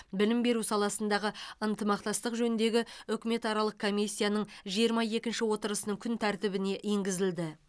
білім беру саласындағы ынтымақтастық жөніндегі үкіметаралық комиссияның жиырма екінші отырысының күн тәртібіне енгізілді